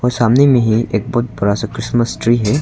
सामने में ही एक बहुत बड़ा सा क्रिसमस ट्री है।